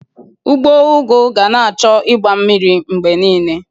Ugbo ugu ga na-achọ igba mmiri mgbe niile